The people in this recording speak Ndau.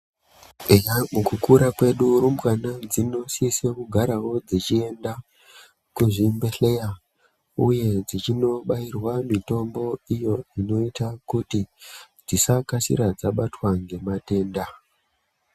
Eya, mukukura kwedu rumbwana dzinosisa kugarawo dzichienda kuzvibhedhleya uye dzichinobairwa mitombo iyo inoita kuti dzisakasira dzabatwa ngematenda.